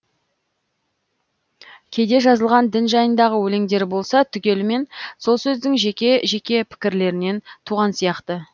кейде жазылған дін жайындағы өлеңдері болса түгелімен сол сөздің жеке жеке пікірлерінен туған сияқты